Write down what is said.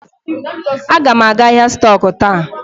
Aga m aga ahịa stọk taa.